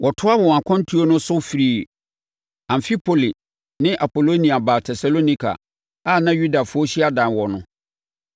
Wɔtoaa wɔn akwantuo no so firii Amfipoli ne Apolonia baa Tesalonika a na Yudafoɔ hyiadan wɔ no.